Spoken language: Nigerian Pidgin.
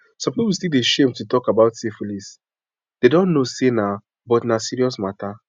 some people still dey shame to talk about syphilisthey dont know say na but na serious matter